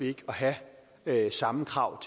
ikke have samme krav